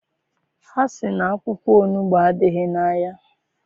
Ha sị na akwụkwọ onugbu adịghị n'ahịa.